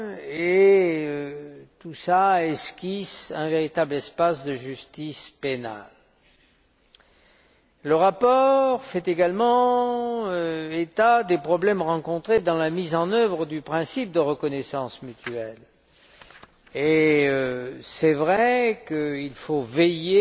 et tout cela esquisse un véritable espace de justice pénale. Le rapport fait également état des problèmes rencontrés dans la mise en œuvre du principe de reconnaissance mutuelle et il est vrai qu'il faut veiller